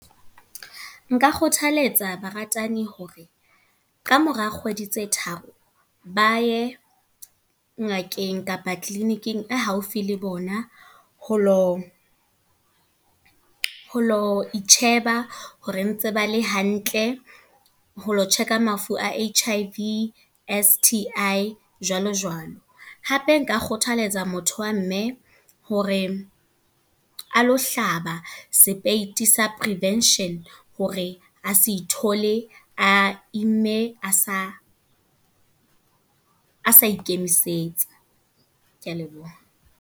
Nka kgothaletsa baratani hore, kamora kgwedi tse tharo. Ba ye ngakeng kapa clinic-ing e haufi le bona. Ho lo, ho lo itjheba hore ntse bale hantle. Ho lo check-a mafu a H_I_V, S_T_I, jwalo jwalo. Hape Nka kgothaletsa motho wa mme hore, a lo hlaba sepeiti sa prevention. Hore a se ithole a imme, a sa ikemisetsa. Ke a leboha.